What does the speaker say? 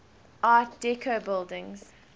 art deco buildings